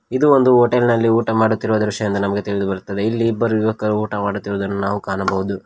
ಇದು ಒಂದು ಹೋಟೆಲ್ ನಲ್ಲಿ ಊಟ ಮಾಡುತ್ತಿರುವ ದೃಶ್ಯ ಎಂದು ನಮಗೆ ತಿಳಿದು ಬರುತ್ತದೆ ಇಲ್ಲಿ ಇಬ್ಬರು ಯುವಕರು ಊಟ ಮಾಡುತ್ತಿರುವುದನ್ನು ನಾವು ಕಾಣಬಹುದು.